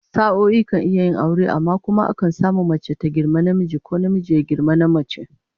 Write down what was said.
Sa'o'i kan iya yin aure, amma kuma akan samu mace ta girmi namiji, ko namiji ya girmi namace